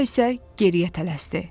Sonra isə geriyə tələsdi.